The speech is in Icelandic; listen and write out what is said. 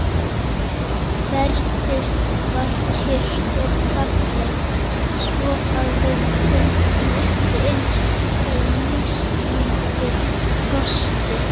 Veðrið var kyrrt og fallegt, svo að við fundum ekki eins fyrir nístandi frostinu.